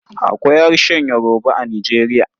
Akwai harshen Yoruba a Nijeriya.